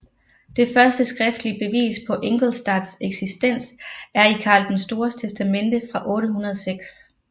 Det første skriftlige bevis på Ingolstadts eksistens er i Karl den Stores testamente fra 806